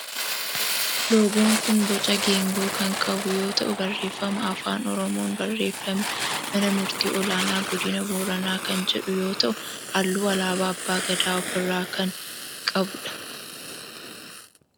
Loogoon kun boca geengoo kan qabu yoo ta'u barreeffama afaan oromoon barreeffame mana murtii ol'aanaa godina Booranaa kan jedhu yoo ta'u halluu alaabaa abbaa Gadaa of irraa kan qabu dha.